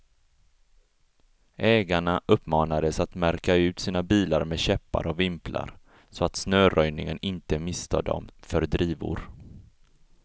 Ägarna uppmanades att märka ut sina bilar med käppar och vimplar, så att snöröjningen inte misstar dem för drivor.